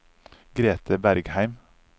Grethe Bergheim